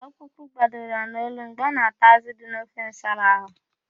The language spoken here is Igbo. Okpụkpụ gbadoro ya n'olu mgbe ọ na-ata ázụ̀ dị n'ofe nsala ahụ.